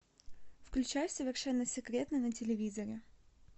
включай совершенно секретно на телевизоре